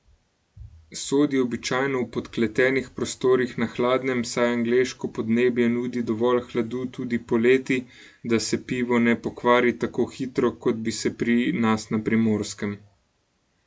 Sod je običajno v podkletenih prostorih na hladnem, saj angleško podnebje nudi dovolj hladu tudi poleti, da se pivo ne pokvari tako hitro, kot bi se pri nas na Primorskem.